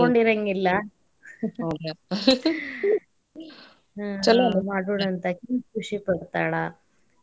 ಅನ್ಕೊಂಡಿರಾಂಗಿಲ್ಲ ಆಕಿ ಛಲೋ ಅಲ್ ಮಾಡುಣ ಆಕಿನೂ ಖುಷಿ ಪಡ್ತಾಳ.